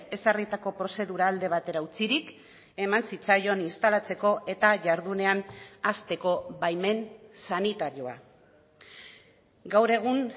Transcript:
ezarritako prozedura alde batera utzirik eman zitzaion instalatzeko eta jardunean hasteko baimen sanitarioa gaur egun